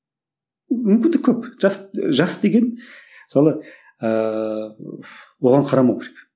мүмкіндік көп жас ы жас деген мысалы ыыы оған қарамау керек